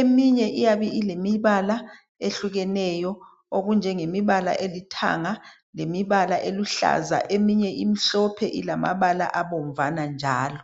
eminye iyabe ilemibala ehlukeneyo okunjengemibala elithanga lemibala eluhlaza eminye imihlophe ilamabala abomvana njalo